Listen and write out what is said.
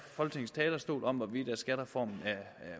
folketingets talerstol om at skattereformen er